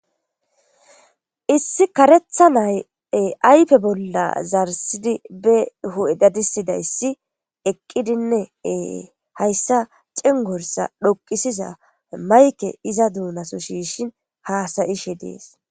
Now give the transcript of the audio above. Issi karetha nay aype bolla zarsidi be h7edadisidayssi eqqidinneee hayssa cingorsa dhoqisiza mayke iza duunaso shiishin haasayishe dees.